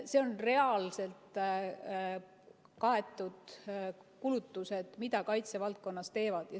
Need on reaalselt kaetud kulutused, mida kaitsevaldkonnas tehakse.